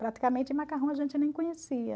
Praticamente macarrão a gente nem conhecia.